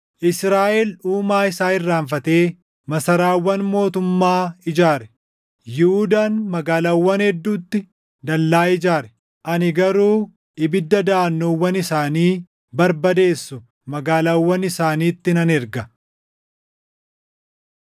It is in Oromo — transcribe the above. Israaʼel Uumaa isaa irraanfatee masaraawwan mootummaa ijaare; Yihuudaan magaalaawwan hedduutti dallaa ijaare. Ani garuu ibidda daʼannoowwan isaanii barbadeessu magaalaawwan isaaniitti nan erga.”